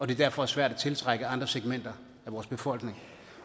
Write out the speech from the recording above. det derfor er svært at tiltrække andre segmenter i vores befolkning